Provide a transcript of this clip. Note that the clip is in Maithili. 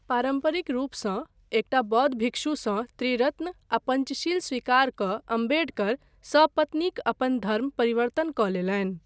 पारम्परिक रूपसँ एकटा बौद्ध भिक्षुसँ त्रिरत्न आ पञ्चशील स्वीकार कऽ अम्बेडकर सपत्नीक अपन धर्म परिवर्तन कऽ लेलनि।